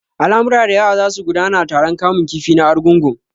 Al'amura da yawa za su gudana a taron kamun kifi na Argungu.